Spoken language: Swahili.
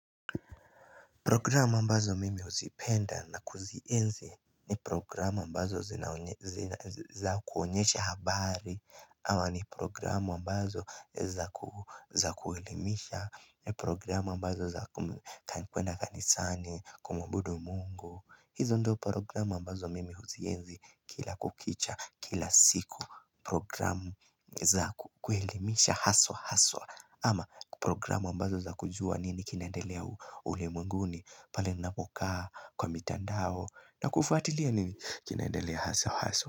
Programu ambazo mimi huzipenda na kuzienzi ni programu ambazo za kuonyesha habari ama ni programu ambazo za kuelimisha, Programu ambazo za kwenda kanisani, kumuabudu mungu, hizo ndio programu ambazo mimi huzienzi kila kukicha kila siku Programu za kuelimisha haswa haswa ama programu ambazo za kujua nini kinaendelea ulimwenguni pale ninapokaa kwa mitandao na kufuatilia nini kinaendelea haswa haswa.